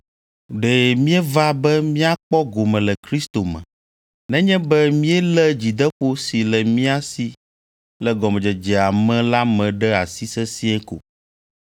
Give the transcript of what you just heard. Ɖe míeva be míakpɔ gome le Kristo me, nenye be míelé dzideƒo si le mía si le gɔmedzedzea me la me ɖe asi sesĩe ko.